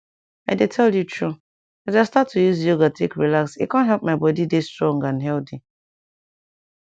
i dey tell you true as i start to use yoga take relax e com help my body dey strong and healthy